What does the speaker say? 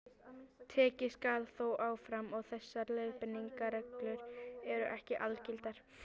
Tekið skal þó fram að þessar leiðbeiningarreglur eru ekki algildar.